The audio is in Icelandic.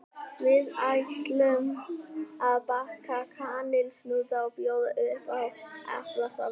Við ætlum að baka kanilsnúða og bjóða upp á eplasafa með.